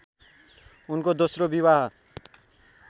उनको दोस्रो विवाह